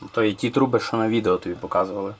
Videoda sənə göstərilən borular bunlardır?